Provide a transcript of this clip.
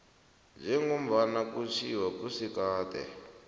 njengombana kutjhiwo kusigaba